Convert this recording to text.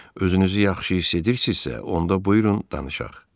Özünüzü yaxşı hiss edirsizsə, onda buyurun danışaq.